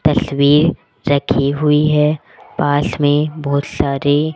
तस्वीर रखी हुई है पास में बहुत सारे--